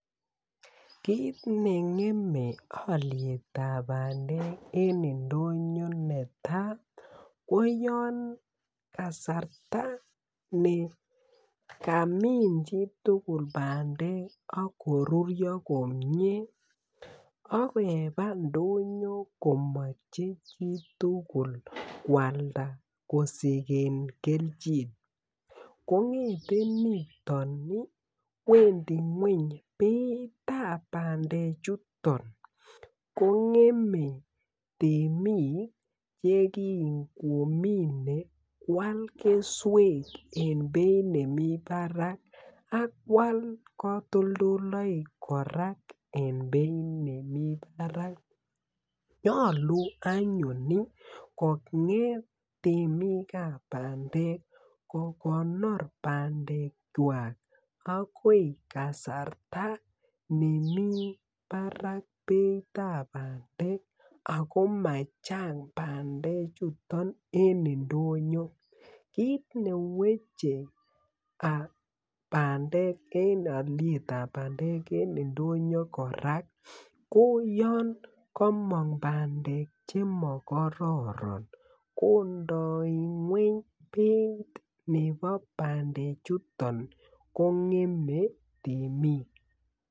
Kit nengeme olyetab bandek eng indonyo neta ko yon kasarta ne kamin chitugul bandek akorurio komyee akeba ndonyo komoche chitugul kwalda kosigen kelchin kongeten niton iih Wendi ngwony beitab bandechuton ko ngeme temik che kingomine kwal keswek eng beit nemi barak ak kwal katoldolloik korak eng beit nemi barak nyolu anyun iih konget temikab bandek kokonor bandekwak agoi kasarta nemi barak beitab bandek ago machang bandechuton eng indonyo kit neweche aah bandek eng olietab bandek eng indonyo korak ko yon komong bandek che mokororon kondoi ngwony beit nebo bandechuton kongeme temik.